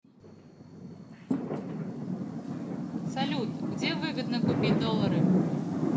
салют где выгодно купить доллары